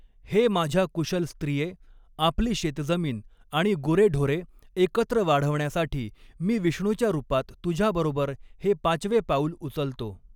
हे माझ्या कुशल स्त्रिये, आपली शेतजमीन आणि गुरेढोरे एकत्र वाढवण्यासाठी मी विष्णूच्या रूपात तुझ्याबरोबर हे पाचवे पाऊल उचलतो.